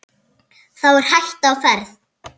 Þá er hætta á ferð.